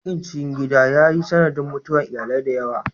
Yakin cikin gida ya yi sanadin mutuwar iyalai da yawa.